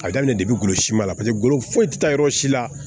A daminɛ depi golo sima la paseke ngolo foyi ti taa yɔrɔ si la